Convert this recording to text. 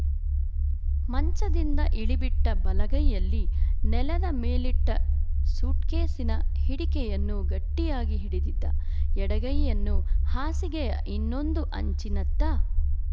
ಮಂಚದಿಂದ ಇಳಿಬಿಟ್ಟ ಬಲಗೈಯಲ್ಲಿ ನೆಲದ ಮೇಲಿಟ್ಟ ಸೂಟ್‍ಕೇಸಿನ ಹಿಡಿಕೆಯನ್ನು ಗಟ್ಟಿಯಾಗಿ ಹಿಡಿದಿದ್ದ ಎಡಗೈಯನ್ನು ಹಾಸಿಗೆಯ ಇನ್ನೊಂದು ಅಂಚಿನತ್ತ